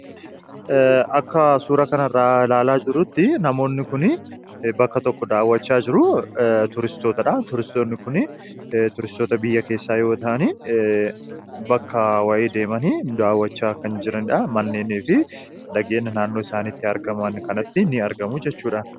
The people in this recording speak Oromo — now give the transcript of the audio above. akka suura kan irraa ilaalaa jirutti namoonni kun bakka tokko daawwachaa jiru turistootadha turisoonni kun turistoota biyya keessaa yootaan bakka wa'ee deemani da'awwachaa kan jiradha manneenii fi dageenna naannoo isaanitti argaman kanatti ini argamu jechuudha